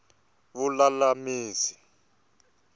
vululamisi